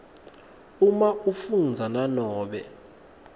uma afundza nanobe